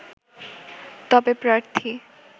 তবে প্রার্থী